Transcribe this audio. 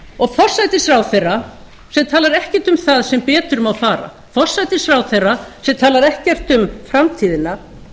og forsætisráðherra sem talar ekkert um það sem betur má fara forsætisráðherra sem talar ekkert um framtíðina